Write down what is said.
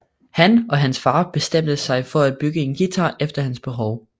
Han og hans far bestemte sig for at bygge en guitar efter hans behov